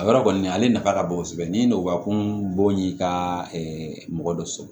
A yɔrɔ kɔni ale nafa ka bon kosɛbɛ ni nɔgɔ kun bon y'i ka mɔgɔ dɔ sɔrɔ